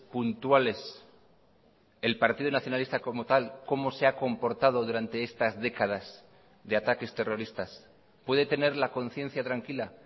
puntuales el partido nacionalista como tal cómo se ha comportado durante estas décadas de ataques terroristas puede tener la conciencia tranquila